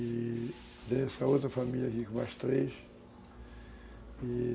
E tenho essa outra família aqui com três.